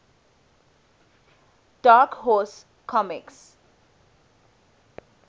dark horse comics